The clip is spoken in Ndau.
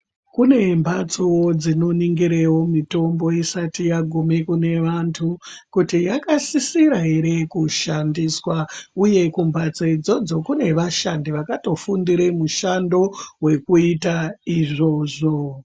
Kunemhatso dzinoningirawo mitombo isati yagume kunevantu kuti yakasisira ere kushandiswa uye kumhatso idzodzo kune vashandi vakatofundire mushando wekuita izvozvo.